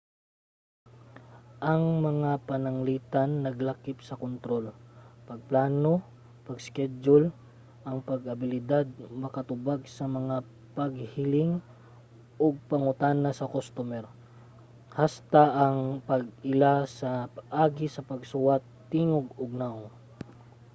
ang mga pananglitan naglakip sa kontrol pagplano pag-iskedyul ang abilidad nga makatubag sa mga paghiling ug pangutana sa kustomer hasta na ang pag-ila sa agi sa pagsuwat tingog ug nawong